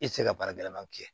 I tɛ se ka baara gɛlɛman kɛ